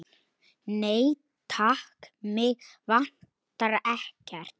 Nei, takk, mig vantar ekkert.